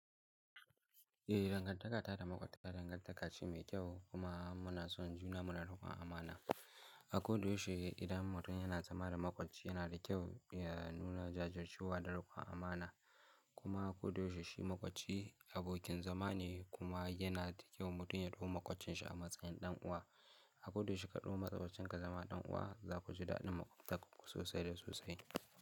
Eh dangantaka ta da makwabta dangantaka ce mai kyau kuma muna son juna muna da ruwan amana. A koda yaushe idan mutum yana zama da makwabci yana da kyau ya nuna jajircewa da rukon amana kuma a kod yaushe shi makwabci abokin zama ne kuma yana da kyau mutum ya ɗauki makwabcinsa a matsayin ɗan uwa. A koda yaushe shi kaɗau makwabcinka zama ɗan uwa za ku ji daɗin makwabtaka sosai da sosai.